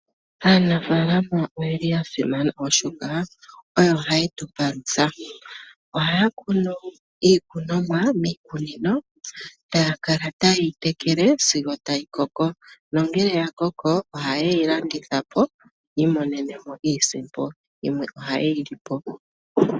Aanafaalama oyeli yasimana oshoka oyo hayetupalutha ohaya kunu iikunomwa miikunino taya kala ta yeyi tekele sigo tayi koko nongele yakoko oha yeyi landithapo yi imonenemo iisimpo . Yimwe ohayeyi landithapo.